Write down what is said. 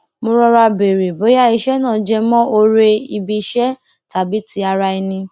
mo rọra béèrè bóyá iṣé náà jẹmọ oore ibi iṣẹ tàbí ti ara ẹni